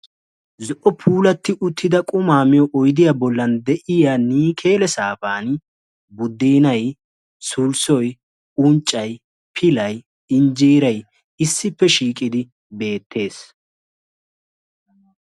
zo'o puulati uttida qumaa miyo oydiya bolan de'iya niikeele sayniyani sulsoy, unccay, injeeray, pilay issippe shiiqidi beetees.